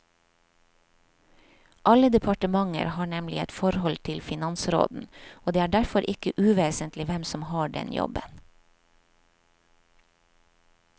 Alle departementer har nemlig et forhold til finansråden, og det er derfor ikke uvesentlig hvem som har den jobben.